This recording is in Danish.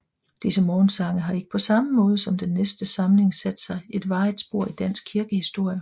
Disse morgensange har ikke på samme måde som den næste samling sat sig et varigt spor i dansk kirkehistorie